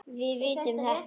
Við vitum þetta.